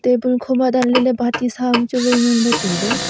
table ko ma dan ley bati sa am chu wai ngan ley tai ley.